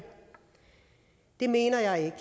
det mener jeg ikke